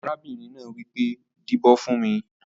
Arábìnrin náà wipé, dìbò fún mí!